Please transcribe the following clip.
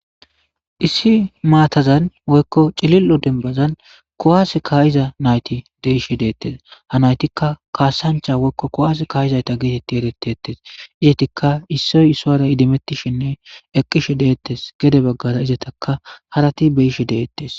issi maatazan woykko cilil7o dembazan kowaas kaayiza nayti deishe deettes ha naytikka kaasancha woykko kowas kaayizayta geetetti eretti ettes izetikka issoy issoyara idimettishinne eqqishe deettes gede baggara izetaka harati beyishe deettes